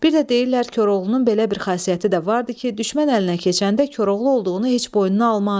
Bir də deyirlər Koroğlunun belə bir xasiyyəti də vardı ki, düşmən əlinə keçəndə Koroğlu olduğunu heç boynuna almazdı.